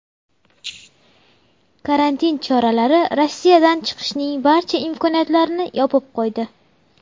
Karantin choralari Rossiyadan chiqishning barcha imkoniyatlarini yopib qo‘ydi.